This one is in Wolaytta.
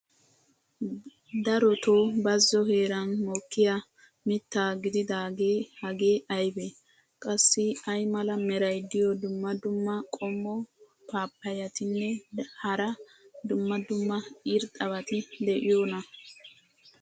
darotoo bazzo heeran mokkiya mita gididaagee hagee aybee? qassi ay mala meray diyo dumma dumma qommo paappayetinne hara dumma dumma irxxabati de'iyoonaa?